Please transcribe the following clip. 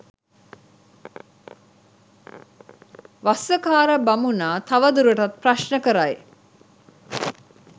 වස්සකාර බමුණා තවදුරටත් ප්‍රශ්න කරයි.